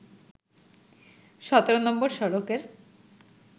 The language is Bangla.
১৭ নম্বর সড়কের